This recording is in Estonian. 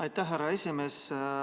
Aitäh, härra esimees!